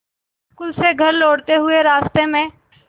school से घर लौटते हुए रास्ते में